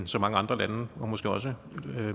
så mange andre lande måske også